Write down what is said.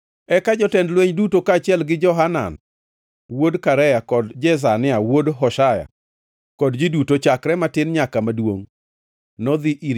Eka jotend lweny duto, kaachiel gi Johanan wuod Karea kod Jezania wuod Hoshaya, kod ji duto chakre matin nyaka maduongʼ nodhi ir